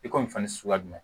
I ko nin fana suguya jumɛn